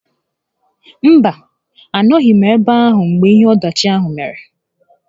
Mba, a nọghị m ebe ahụ mgbe ihe ọdachi ahụ mere